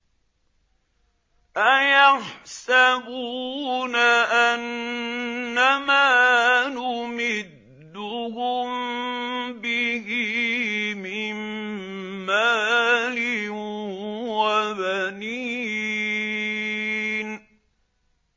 أَيَحْسَبُونَ أَنَّمَا نُمِدُّهُم بِهِ مِن مَّالٍ وَبَنِينَ